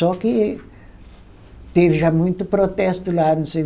Só que teve já muito protesto lá, não sei...